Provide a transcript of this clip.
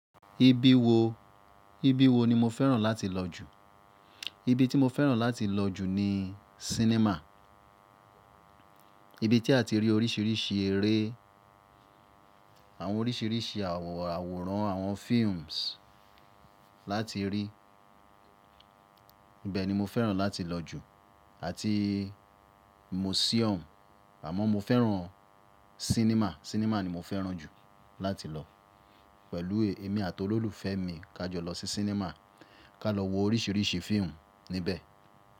Ibi wo, ibi wo ni mo fẹ́ràn láti lọ jù? Ibi tí mo fẹ́ràn láti lọ jù ni cinema. Ibi tí a ti rí oríṣiríṣi eré, àwọn oríṣiríṣi àwòràn, àwọn films láti rí. Ibẹ̀ ni mo fẹ́ràn láti lọ jù àti museum. Àmọ́ mo fẹ́ràn cinema, cinema ni mo fẹ́ràn jù láti lọ. Pẹ̀lú èmi àti olólùfẹ́ mi kà jọ lọ sí cinema, ká lọ wo oríṣiríṣi fíìmù níbẹ̀.